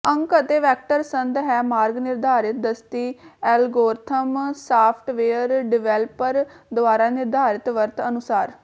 ਅੰਕ ਅਤੇ ਵੈਕਟਰ ਸੰਦ ਹੈ ਮਾਰਗ ਨਿਰਧਾਰਤ ਦਸਤੀ ਐਲਗੋਰਿਥਮ ਸਾਫਟਵੇਅਰ ਡਿਵੈਲਪਰ ਦੁਆਰਾ ਨਿਰਧਾਰਿਤ ਵਰਤ ਅਨੁਸਾਰ